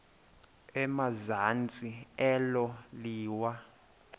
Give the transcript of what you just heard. emazantsi elo liwa